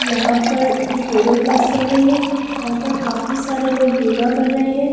यहां पर एक योगा क्‍लास चल रही है यहां पर काफी सारे लोग योगा कर रहे हैं।